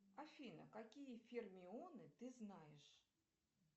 афина какие фермионы ты знаешь